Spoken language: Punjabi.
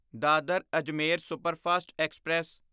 Dadar Ajmer superfast express